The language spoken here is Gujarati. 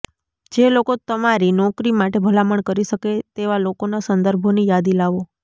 જે લોકો તમારી નોકરી માટે ભલામણ કરી શકે તેવા લોકોનાં સંદર્ભોની યાદી લાવો